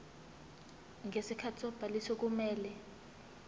ngesikhathi sobhaliso kumele